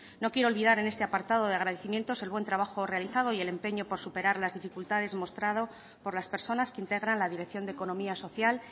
no quiero olvidar en este apartado de agradecimientos el buen trabajo realizado y el empeño por superar las dificultades mostrado por las personas que integran la dirección de economía social